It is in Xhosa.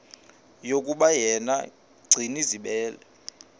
yokuba yena gcinizibele